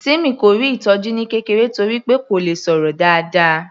Timmy kò rí ìtọjú ní kékeré torí wí pé kò le sọ̀rọ̀ dáadáa